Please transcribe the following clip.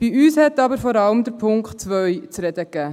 Bei uns gab vor allem der Punkt 2 zu reden.